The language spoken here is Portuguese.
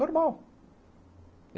Normal.